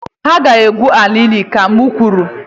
Ị ga-egwu ala ili, ka m kwuru!